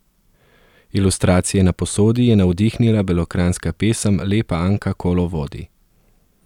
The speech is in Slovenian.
Ilustracije na posodi je navdihnila belokranjska pesem Lepa Anka kolo vodi.